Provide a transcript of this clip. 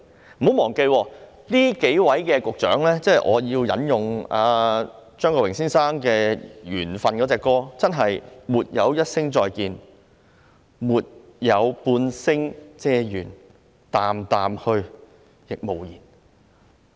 請不要忘記，說到這數位前局長，我要引用張國榮先生"緣份"一曲的歌詞："沒有一聲再見沒有半聲嗟怨淡淡去但無言"。